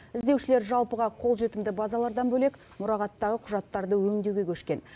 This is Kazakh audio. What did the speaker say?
іздеушілер жалпыға қолжетімді базалардан бөлек мұрағаттағы құжаттарды өңдеуге көшкен